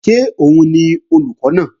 Ṣé òun ni olùkọ́ náà?